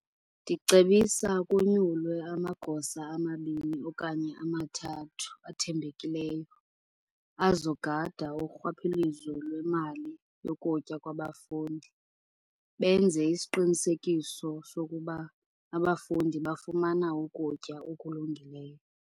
Ndicebisa konyulwe amagosa amabini okanye amathathu athembekileyo azogada urhwaphilizo lwemali yokutya kwabafundi. Benze isiqinisekiso sokuba abafundi bafumana ukutya okulungileyo.